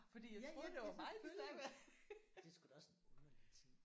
Ja ja ja selvfølgelig. Det er sgu da også en underlig ting